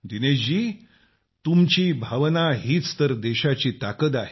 दिनेश जी तुमची भावना हीच तर देशाची ताकद आहे